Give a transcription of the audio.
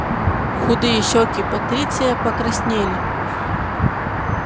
худые щёки патриция покраснели